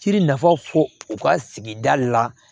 Ci nafa fɔ u ka sigida la